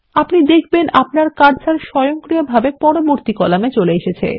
আপনি দেখবেন আপনার কার্সার স্বয়ংক্রিয়ভাবে পরবর্তী কলামের উপর চলে আসছে